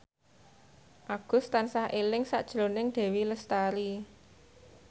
Agus tansah eling sakjroning Dewi Lestari